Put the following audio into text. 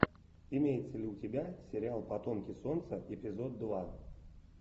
имеется ли у тебя сериал потомки солнца эпизод два